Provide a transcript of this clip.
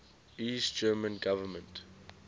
east german government